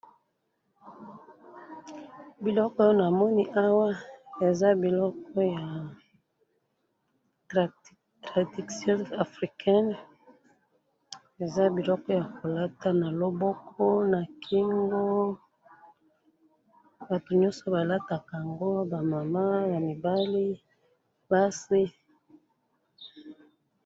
biloko oyo namoni awa eza biloko ya tradition africaine eza bilokoyo balataka na loboko na kingo eza biloko batu nyonso balataka ba mama ,basi